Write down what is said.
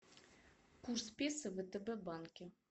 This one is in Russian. курс песо в втб банке